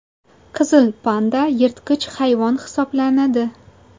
Qizil panda yirtqich hayvon hisoblanadi.